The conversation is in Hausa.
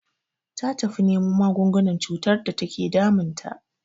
Ta tafi nemo magungunan cutar da take damun ta.